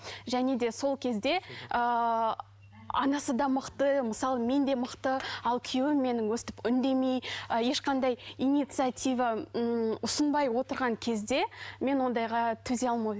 және де сол кезде ыыы анасы да мықты мысалы мен де мықты ал күйеуім менің өстіп үндемей ы ешқандай инициатива ммм ұсынбай отырған кезде мен ондайға төзе алмай